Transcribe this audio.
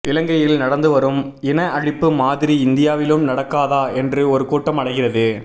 இலங்கையில் நடந்து வரும் இன அழிப்பு மாதிரி இந்தியாவிலும் நடக்காதா என்று ஒரு கூட்டம் அலைகிறது